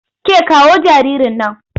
Ke kawo jaririn nan!